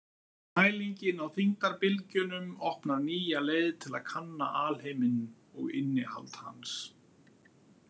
Mælingin á þyngdarbylgjunum opnar nýja leið til að kanna alheiminn og innihald hans.